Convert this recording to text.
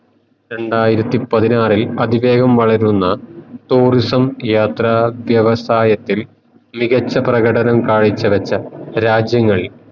രണ്ടായിരത്തി പതിനാറിൽ അതിവേഗം വളരുന്ന tourism യാത്ര വ്യവസായത്തിൽ മികച്ച പ്രകടനം കാഴ്ച വെച്ച